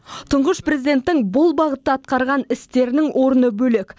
тұңғыш президенттің бұл бағытта атқарған істерінің орны бөлек